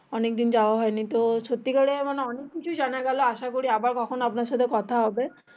অনেক দিন যাওয়া হয়নি তো সত্যি করে অনেক কিছু জানা গেলো আসা করি আবার কখনো আপনার সাথে কথা হবে